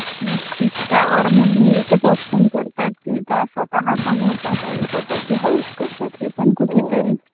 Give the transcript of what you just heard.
नक्कीच त्यावर मुली एकच Option करतात की त्या स्वतः कमवतात आणि स्वतः ची हौस करतात हे पण कुठे तरी